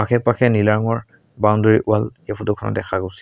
আশে পাশে নীলা ৰঙৰ বাউণ্ডৰি ৱাল এই ফটো খনত দেখা গৈছে।